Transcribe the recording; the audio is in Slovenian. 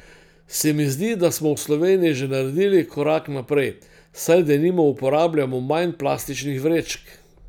Se mi zdi, da smo v Sloveniji že naredili korak naprej, saj denimo uporabljamo manj plastičnih vrečk.